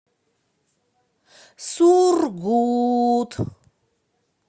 сургут